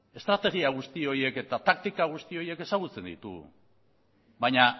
estrategia guzti horiek eta taktika guzti horiek ezagutzen ditugu baina